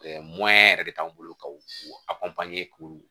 yɛrɛ de t'anw bolo ka u k'u